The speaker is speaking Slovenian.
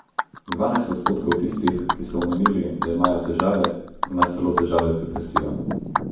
Dvanajst odstotkov tistih, ki so omenili, da imajo težave, ima celo težave z depresijo.